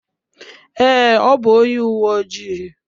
Ee, ọ bụ onye uwe ojii.